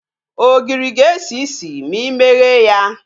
Ogiri ga-esi isi ma imeghe ya